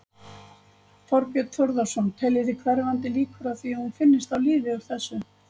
Þorbjörn Þórðarson: Teljið þið hverfandi líkur á því að hún finnist á lífi úr þessu?